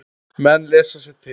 Menn lesa sér til.